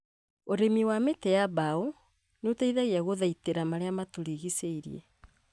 ũrĩmi wa mĩtĩ ya mbaũ nĩũteithagia gũthaitĩra marĩa matũrigicĩirie